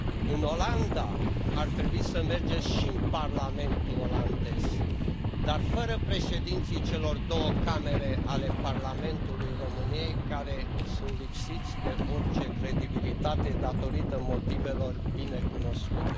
În Olanda ar trebui să mergeți și în Parlamentul olandez, dar fără președinții celor două camere ale Parlamentului României, care sunt lipsiți de orice credibilitate, datorită motivelor binecunoscute.